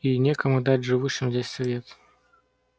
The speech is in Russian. и некому дать живущим здесь свет